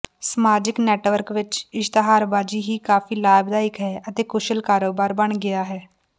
ਸਮਾਜਿਕ ਨੈੱਟਵਰਕ ਵਿੱਚ ਇਸ਼ਤਿਹਾਰਬਾਜ਼ੀ ਹੀ ਕਾਫ਼ੀ ਲਾਭਦਾਇਕ ਹੈ ਅਤੇ ਕੁਸ਼ਲ ਕਾਰੋਬਾਰ ਬਣ ਗਿਆ ਹੈ